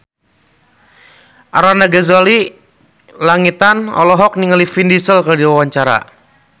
Arlanda Ghazali Langitan olohok ningali Vin Diesel keur diwawancara